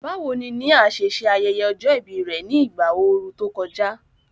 Báwo ni Nia ṣe ṣe ayẹyẹ ọjọ́ ìbí rẹ̀ ní ìgbà ooru tó kọjá?